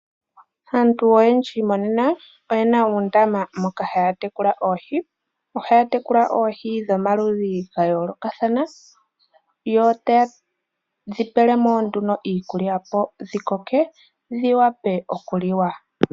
Aantu oyendji monena, oye na uundama moka ha ya tekula oohi, oha ya tekula oohi dhomaludhi ga yoolokathana, yo ta ye dhi pelemo nduno iikulya opo dhikoke dhi wape oku liwa.